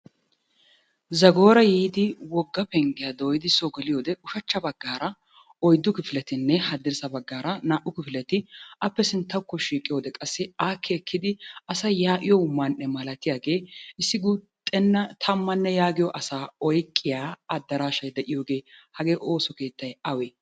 Zagoora yiidi wogga penggiya dooyidi soo geliyode ushachcha baggaara oyddu kifiletinne haddirssa baggaara naa"u kifileti appe sinttawukko shiiqiyode qassi aakki ekkidi asay yaa'iyo man"e malatiyagee issi guuxxenna tammanne yaagiyo asaa oyqqiya addaraashay de'iyogee hagee ooso keettay awee?